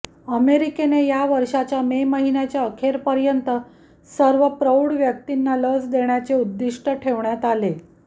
अमेरिकेने या वर्षाच्या मे महिन्याच्या अखेरपर्यंत सर्व प्रौढ व्यक्तीना लस देण्याचे उद्दिष्ट्य ठेवण्यात आले